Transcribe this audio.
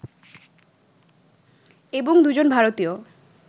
এবং দুজন ভারতীয়